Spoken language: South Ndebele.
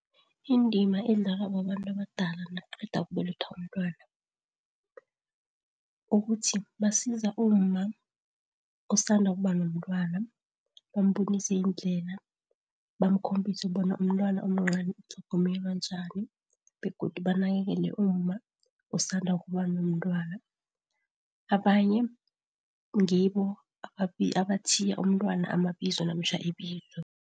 Indima edlalwa babantu abadala nakuqeda ukubelethwa umntwana, ukuthi basiza umma osanda ukuba nomntwana, bambonise indlela, bamkhombise bona umntwana omncani utlhogomelwa njani, begodu banakelele umma osanda ukuba nomntwana. Abanye ngibo abathiya umntwana amabizo namtjhana ibizo.